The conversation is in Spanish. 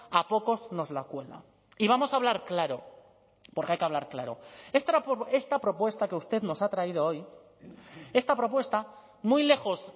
a pocos nos la cuela y vamos a hablar claro porque hay que hablar claro esta propuesta que usted nos ha traído hoy esta propuesta muy lejos